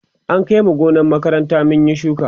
an Kai mu gonar makaranta mun Yi shuka